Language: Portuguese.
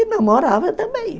E namorava também.